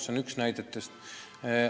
See on üks näide.